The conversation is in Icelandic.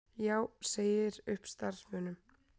Já segir upp starfsmönnum